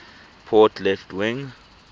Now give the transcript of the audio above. port left wing